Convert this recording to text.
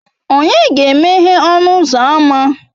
Ònye ga-emeghe ọnụ ụzọ ámá?